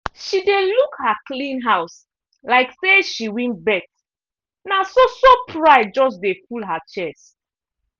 she dey look her clean house like say she win bet na so-so pride just de full her chest.